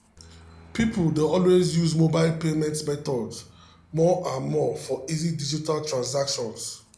people dey use mobile payment methods more and more for easy digital transactions.